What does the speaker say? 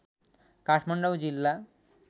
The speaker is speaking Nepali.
काठमाडौँ जिल्ला